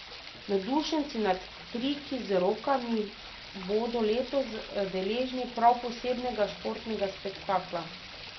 Navdušenci nad triki z rolkami bodo letos deležni prav posebnega športnega spektakla.